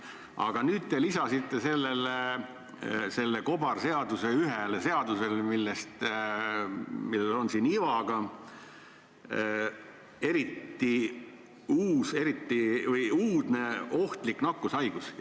Aga nüüd te lisasite selle kobarseaduse ühele seadusele, et on olemas "uudne ohtlik nakkushaigus".